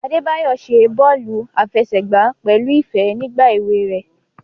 Adebayo ṣe bọọlu afẹsẹgba pẹlu ifẹ ni igba ewe rẹ.